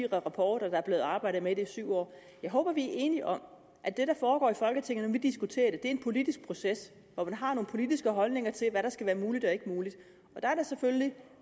rapporter der er blevet arbejdet med det i syv år jeg håber at vi er enige om at det der foregår i folketinget når vi diskuterer det er en politisk proces hvor man har nogle politiske holdninger til hvad der skal være muligt og ikke muligt der er det selvfølgelig